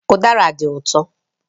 Udara dị ụtọ